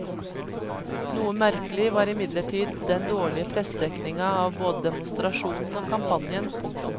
Noe merkelig var imidlertid den dårlige pressedekninga av både demonstrasjonen og kampanjen. punktum